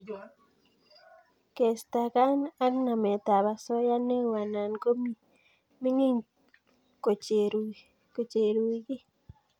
Kestakan eng nametab osoya neo anan ko mining kochereiugil